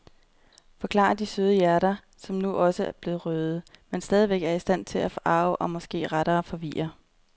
Forklarer de søde hjerter, som nu også er blevet røde, men stadigvæk er i stand til at forarge eller måske rettere forvirre.